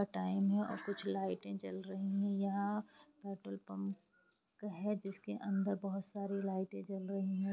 Time है और कुछ लाइटे जल रही है यहाँ पेट्रोल पंप है जिसके अंदर बहुत सारी लाइटे जल रही है।